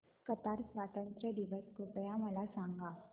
Qatar स्वातंत्र्य दिवस कृपया मला सांगा